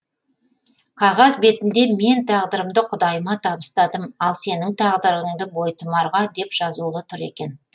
қағаз бетінде мен тағдырымды құдайыма табыстадым ал сенің тағдырыңды бойтұмарға деп жазулы тұр екен